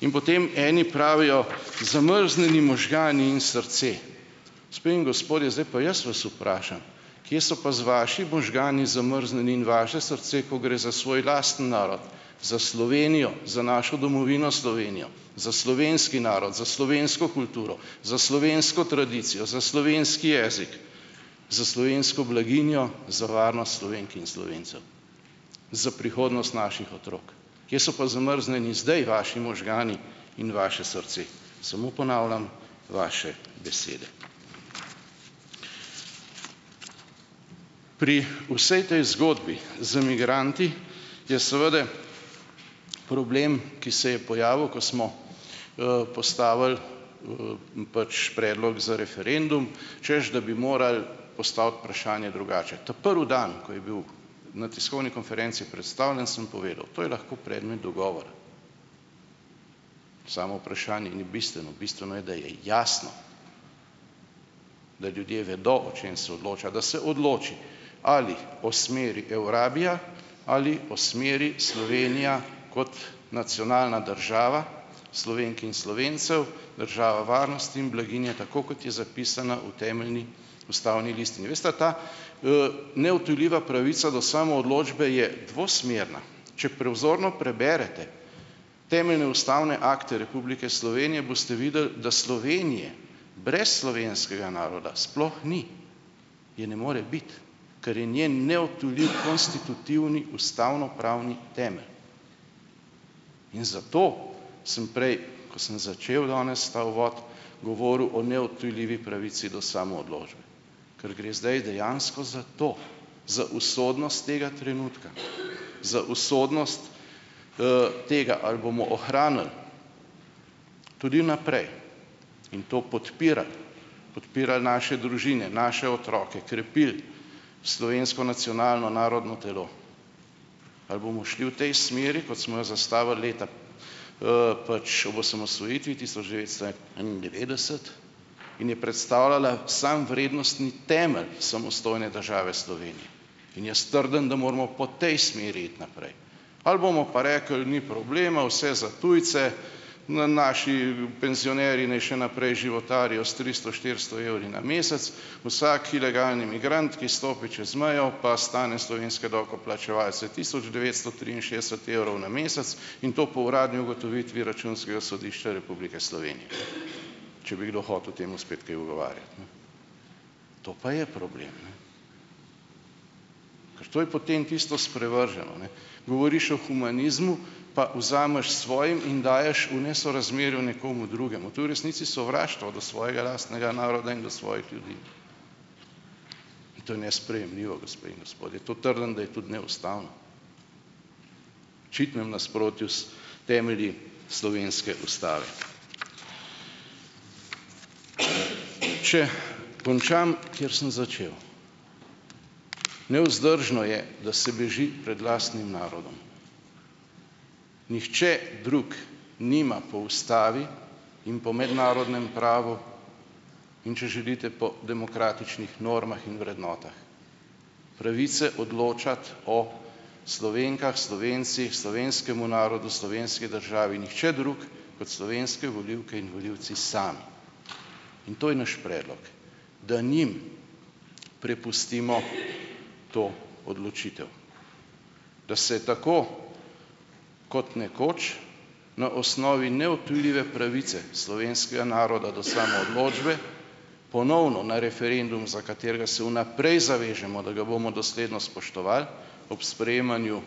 In potem eni pravijo: "zamrznjeni možgani in srce". Gospe in gospodje, zdaj pa jaz vas vprašam, kje so pa z vaši možgani zamrznjeni in vaše srce, ko gre za svoj lasten narod, za Slovenijo, za našo domovino Slovenijo, za slovenski narod, za slovensko kulturo, za slovensko tradicijo, za slovenski jezik, za slovensko blaginjo, za varnost Slovenk in Slovencev, za prihodnost naših otrok. Kje so pa zamrznjeni zdaj vaši možgani in vaše srce? Samo ponavljam vaše besede. Pri vsej tej zgodbi z migranti je seveda problem, ki se je pojavil, ko smo postavili pač predlog za referendum, češ, da bi morali postaviti vprašanja drugače. Ta prvi dan, ko je bil na tiskovni konferenci predstavljen, sem povedal, to je lahko predmet dogovora. Samo vprašanje ni bistveno, bistveno je, da je jasno, da ljudje vedo, o čem se odloča, da se odloči, ali o smeri Eurabija ali o smeri Slovenija kot nacionalna država Slovenk in Slovencev, država varnosti in blaginje, tako kot je zapisana v temeljni ustavni listini. Veste ta neodtujljiva pravica do samoodločbe je dvosmerna. Če "prevzorno" preberete temeljne ustavne akte Republike Slovenije, boste videli, da Slovenije brez slovenskega naroda sploh ni, je ne more biti, ker je njen neodtujljiv konstitutivni ustavnopravni temelj, in zato sem prej, ko sem začel danes ta uvod, govoril o neodtujljivi pravici do samoodločbe, ker gre zdaj dejansko za to, za usodnost tega trenutka, za usodnost tega, ali bomo ohranili tudi vnaprej in to podpirali, podpirali naše družine, naše otroke, krepili slovensko nacionalno narodno telo. Ali bomo šli v tej smeri kot smo jo zastavili leta ... pač ob osamosvojitvi, tisoč devetsto enaindevetdeset in je predstavljala samo vrednostni temelj samostojne države Slovenije, in jaz trdim, da moramo po tej smeri iti naprej. Ali bomo pa rekli: "Ni problema, vse za tujce, naši penzionerji naj še naprej životarijo s tristo, štiristo evri na mesec, vsak ilegalni migrant, ki stopi čez mejo, pa stane slovenske davkoplačevalce tisoč devetsto triinšestdeset evrov na mesec in to po uradni ugotovitvi Računskega sodišča Republike Slovenije." Če bi kdo hotel temu spet kaj ugovarjati, ne. To pa je problem, ne. Ker to je potem tisto sprevrženo, ne, govoriš o humanizmu, pa vzameš svojim in daješ v nesorazmerju nekomu drugemu. To je v resnici sovraštvo do svojega lastnega naroda in do svojih ljudi in to je nesprejemljivo, gospe in gospodje. To trdim, da je tudi neustavno, v očitnem nasprotju s temelji slovenske ustave. Če končam, kjer sem začel. Nevzdržno je, da se beži pred lastnim narodom. Nihče drug nima po ustavi in po mednarodnem pravu in, če želite, po demokratičnih normah in vrednotah pravice odločati o Slovenkah, Slovencih, slovenskemu narodu, slovenski državi, nihče drug kot slovenske volivke in volivci sami. In to je naš predlog, da njim prepustimo to odločitev. Da se tako kot nekoč na osnovi neodtujljive pravice slovenskega naroda do samoodločbe ponovno na referendum, za katerega se vnaprej zavežemo, da ga bomo dosledno spoštovali ob sprejemanju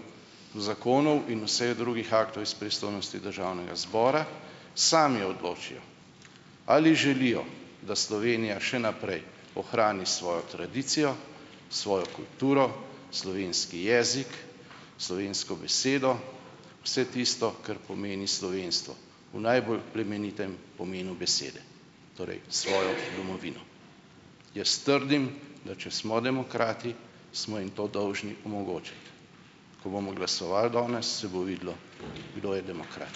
zakonov in vseh drugih aktov iz pristojnosti Državnega zbora, sami odločijo, ali želijo, da Slovenija še naprej ohrani svojo tradicijo, svojo kulturo, slovenski jezik, slovensko besedo, vse tisto, kar pomeni slovenstvo v najbolj plemenitem pomenu besede, torej, svojo domovino. Jaz trdim, da če smo demokrati, smo jim to dolžni omogočiti. Ko bomo glasovali danes, se bo videlo, kdo je demokrat.